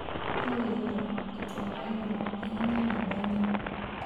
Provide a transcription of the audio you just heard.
Hau igũrũ ( itua ria igũrũ) hihinya namba inya